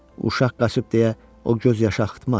Uşaq qaçıb deyə o göz yaşı axıtmaz.